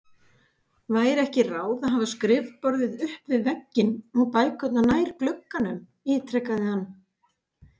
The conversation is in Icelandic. Væri ekki ráð að hafa skrifborðið upp við vegginn og bækurnar nær glugganum? ítrekaði hann.